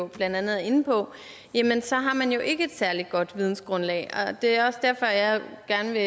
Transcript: blandt andet er inde på så har man jo ikke et særlig godt vidensgrundlag det er også derfor at jeg gerne vil